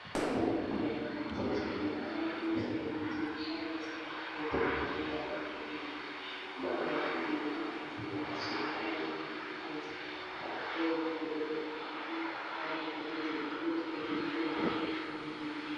Bisa imithi lamaphilisi esigulane. Amaphilisi lemithi kuhlala kusemakhabothini, alombala omhlophe nke. Kulawomavingeli amanzi kawaswelakali. Amanzi akhuthazwa ngudokotela ukuthi umuntu ewanathe ukuze avikevikeleke, emkhuhlaneni ethize.